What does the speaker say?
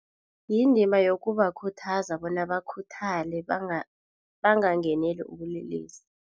Yindima yokubakhuthaza bona bakhuthale bangangeneli ubulelesi.